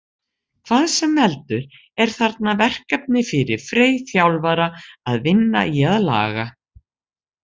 Hvað sem veldur er þarna verkefni fyrir Frey þjálfara að vinna í að laga.